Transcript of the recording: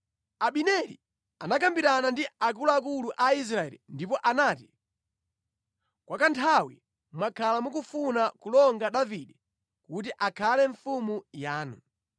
Abineri anakambirana ndi akuluakulu a Israeli ndipo anati, “Kwa kanthawi mwakhala mukufuna kulonga Davide kuti akhale mfumu yanu.